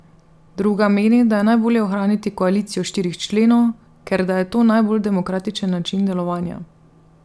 Druga meni, da je najbolje ohraniti koalicijo štirih členov, ker da je to najbolj demokratičen način delovanja.